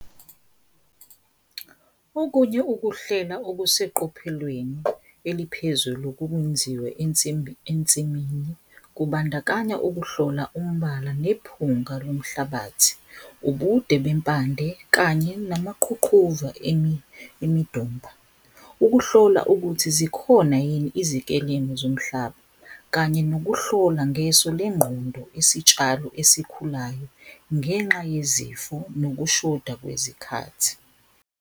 Okunye ukuhlela okuseqophelweni eliphezulu ukwenziwe ensimini, kubandakanya ukuhlola umbala nephunga lomhlabathi, ubude bempande kanye namaqhuqhuva emidomba. Ukuhlola ukuthi zikhona yini izikelemu zomhlaba kanye nokuhlola ngeso lengqondo isitshalo esikhulayo ngenxa yezifo nokushoda kwezikhathi.